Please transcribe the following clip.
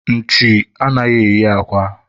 nchi anaghị eyi akwa